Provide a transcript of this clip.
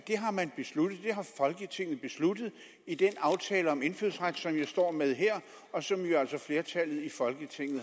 har folketinget besluttet i den aftale om indfødsret som jeg står med her og som jo altså flertallet i folketinget